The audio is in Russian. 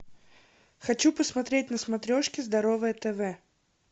хочу посмотреть на смотрешке здоровое тв